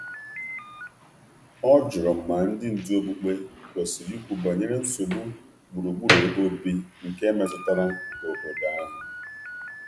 Ọ jụrụ ma um ndị ndú okpukperechi kwesịrị ikwu okwu banyere nsogbu gburugburu ebe obodo.